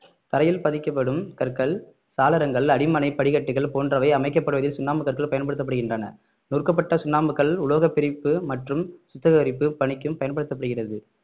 தரையில் பதிக்கப்படும் கற்கள் சாளரங்கள் அடிமனை படிகட்டுகள் போன்றவை அமைக்கப்படுவதில் சுண்ணாம்புக்கற்கள் பயன்படுத்தப்படுகின்றன நொறுக்கப்பட்ட சுண்ணாம்புக்கல் உலோக பிரிப்பு மற்றும் சுத்திகரிப்பு பணிக்கும் பயன்படுத்தப்படுகிறது